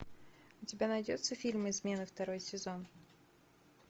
у тебя найдется фильм измены второй сезон